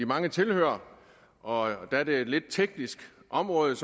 mange tilhørere og da det er et lidt teknisk område